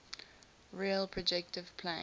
real projective plane